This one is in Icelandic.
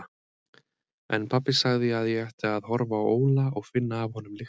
En pabbi sagði að ég ætti að horfa á Óla og finna af honum lyktina.